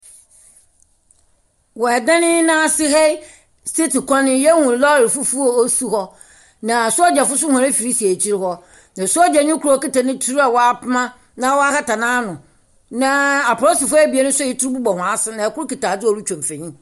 Wɔ ɛdan yi n'ase ha yi, striit kwan yi yehu lɔɔre fufuw osi hɔ. Na Asogya fo so wɔn efiri si ekyi hɔ. Na Sogyani kor a okita ne etur a wapoma na woahata n'ano. Na Apolisifo ebien so a etur bobɔ wɔn asen, na ɛkor kita adze a ɔdze twa mfonyi.